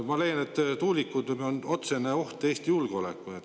Ma leian, et tuulikud on otsene oht Eesti julgeolekule.